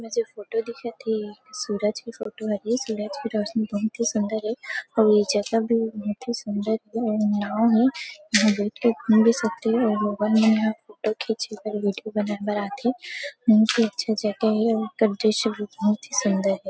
इसमें से फोटो दिखत हे सूरज के फोटो हरे सूरज के रौशनी बहुत ही सुन्दर हे अउ ये जगह भी बहुत ही सुन्दर हे इंहा नांव हे यहाँ बैठ के घूम भी सकथे और लोगन मन यहाँ फोटो खींच और वीडियो बनाथे ही बहुत ही अच्छा जगह हे दृश्य भी बहुत ही सुन्दर हे।